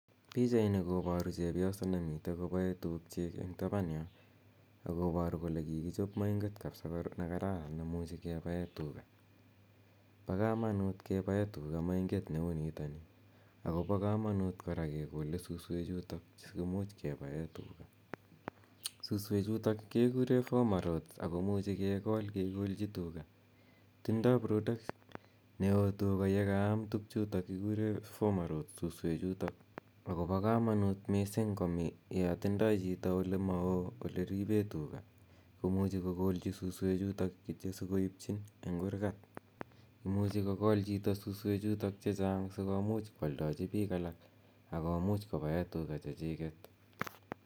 Pichaini koparu chepyoso nemitei kopae tuugchiik eng' tapan yo ako paru kora kole kikichop mainget kapsa ne kararan ne muchi kepae tuga. Pa kamanut keppae tuga mainget ne u nitani ako pa kamanuut kora kekole suswechutok si komuch kepae tuga. Suswechutok kekure boma rodhes ako muchi kekol kekolchi tuga. Tindai production ne o tuga ye kaam tugchutak kikure boma rhodes , suswechutok ako pa kamanut missing' ya tindai chito ole ma oo ole ripe tuga ko muchi kokolchi kityo chito suswechutok si koipchin eng' kurgat. Imuchi kokol chito suswechutok che chang' si komuch koaldachi piik alak ak komuch kopae tuga chechiket.